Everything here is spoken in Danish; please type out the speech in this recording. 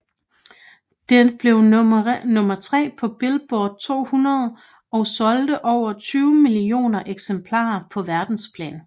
Det blev nummer tre på Billboard 200 og solgte over 20 millioner eksemplarer på verdensplan